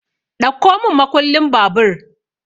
Ɗauko mun makullin babur!